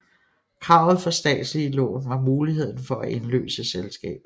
Kravet for statslige lån var muligheden for at indløse selskabet